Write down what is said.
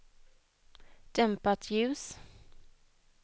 dämpat ljus